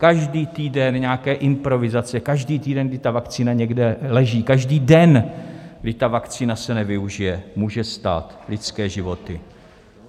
Každý týden nějaké improvizace, každý týden, kdy ta vakcína někde leží, každý den, kdy ta vakcína se nevyužije, může stát lidské životy.